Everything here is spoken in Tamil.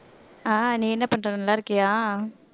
ஆஹ் நீ என்ன பண்ற நல்லா இருக்கியா